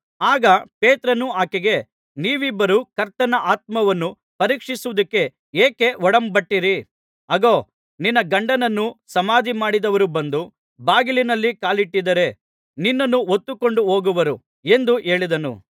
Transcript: ಆಗ ಪೇತ್ರನು ಆಕೆಗೆ ನೀವಿಬ್ಬರೂ ಕರ್ತನ ಆತ್ಮನನ್ನು ಪರೀಕ್ಷಿಸುವುದಕ್ಕೆ ಏಕೆ ಒಡಂಬಟ್ಟಿರಿ ಅಗೋ ನಿನ್ನ ಗಂಡನನ್ನು ಸಮಾಧಿಮಾಡಿದವರು ಬಂದು ಬಾಗಿಲಿನಲ್ಲಿ ಕಾಲಿಟ್ಟಿದ್ದಾರೆ ನಿನ್ನನ್ನೂ ಹೊತ್ತುಕೊಂಡು ಹೋಗುವರು ಎಂದು ಹೇಳಿದನು